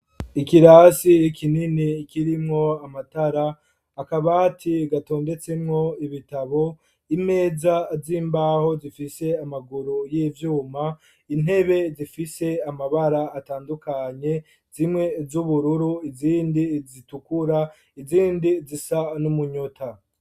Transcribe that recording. Ikirasi kinini kirimwo amatara, akabati gatondetsemwo ibitabo, imeza z'imbaho zifise amaguru y'ivyuma, intebe zifise amabara atandukanye zimwe z'ubururu, izindi zitukura, izindi zisa n'umunyota.